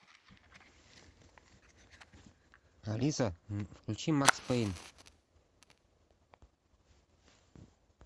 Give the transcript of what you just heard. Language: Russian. алиса включи макс пэйн